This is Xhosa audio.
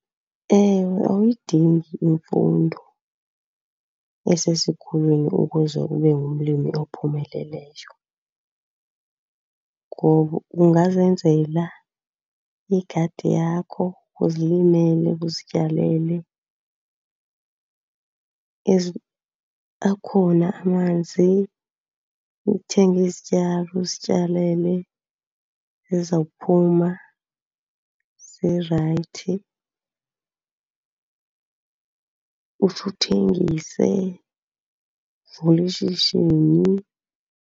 Ewe awuyidingi imfundo esesikweni ukuze ube ngumlimi ophumeleleyo ngoba ungazenzela igadi yakho, uzilimele, uzityalele. Ezi akhona amanzi, uthenge izityalo uzityalele zizawuphuma zirayithi, utsho uthengise uvule ishishini.